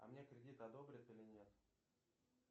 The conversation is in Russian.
а мне кредит одобрят или нет